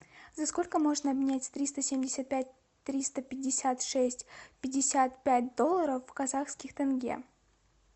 за сколько можно обменять триста семьдесят пять триста пятьдесят шесть пятьдесят пять долларов в казахских тенге